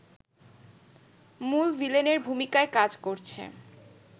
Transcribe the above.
মূল ভিলেনের ভূমিকায় কাজ করছে